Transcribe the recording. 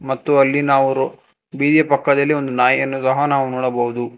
ಮತ್ತು ಅಲ್ಲಿ ನಾವು ಬೀದಿ ಪಕ್ಕದಲ್ಲಿ ಒಂದು ನಾಯಿಯನ್ನು ನೋಡಬಹುದು.